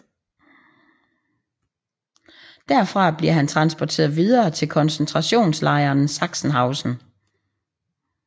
Derfra bliver han transporteret videre til koncentrationslejren Sachsenhausen